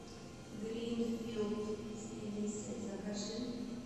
гринфилд с мелиссой закажи